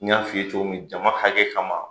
N y'a f'i cogo min jama hakɛ kama